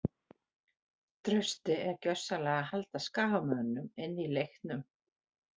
Trausti er gjörsamlega að halda skagamönnum inní leiknum.